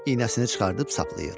İynəsini çıxarıb saplayır.